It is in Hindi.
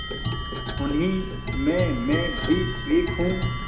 उन्हीं में मैं भी एक हूँ